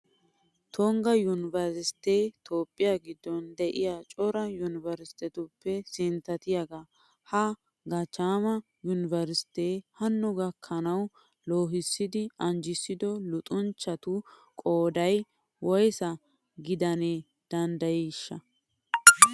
Tungga yunveresttee toophphiya giddon de'iya cora yunveresttetuppe sinttatiyagaa. Ha gachchaama yunveresttee hanno gakkanawu loohissidi anjissido luxanchchatu qooday woysa gidana danddayiyonaashsha?